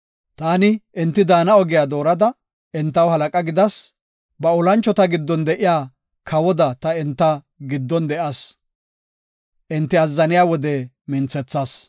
Taani enti daana ogiya doorada entaw halaqa gidas. Ba olanchota giddon de7iya kawoda ta enta giddon de7as; enti azzaniya wode minthethas.